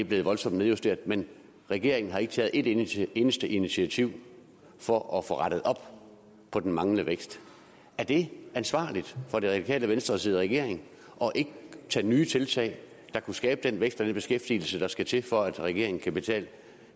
blevet voldsomt nedjusteret men regeringen har ikke taget et eneste eneste initiativ for at få rettet op på den manglende vækst er det ansvarligt for det radikale venstre at sidde i regering og ikke tage nye tiltag der kunne skabe den vækst og den beskæftigelse der skal til for at regeringen kan betale